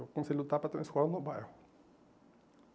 Eu comecei a lutar para ter uma escola no bairro.